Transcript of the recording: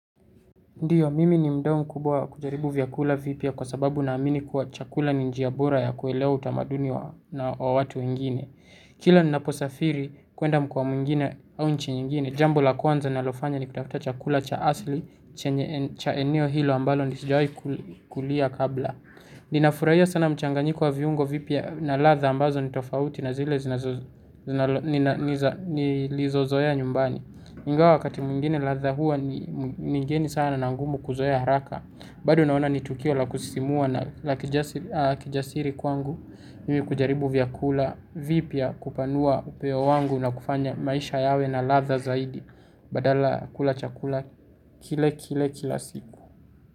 Ndiyo, mimi ni mdao mkubwa kujaribu vyakula vipya kwa sababu naamini kuwa chakula ni njiya bora ya kuelewa utamaduni wa watu wengine. Kila ninaposafiri kuenda mkoa mwingine au nchi nyingine, jambo la kwanza nalofanya ni kutafuta chakula cha asli cha eneo hilo ambalo sijawai kulia kabla. Ninafurahia sana mchanganyiko wa viungo vipya na ladha ambazo nitofauti na zile nilizozoea nyumbani. Ingawa wakati mwingine ladha huwa ni migeni sana na ngumu kuzoea haraka bado naona ni tukio la kusisimua na la kijasiri kwangu. Mimi kujaribu vyakula vipya kupanua upeo wangu na kufanya maisha yawe na ladha zaidi. Badala kula chakula kile kile kila siku.